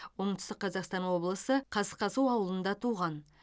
оңтүстік қазақстан облысы қасқасу ауылында туған